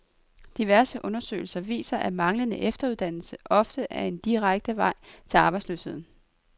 Diverse undersøgelser viser, at manglende efteruddannelse ofte er den direkte vej til arbejdsløsheden.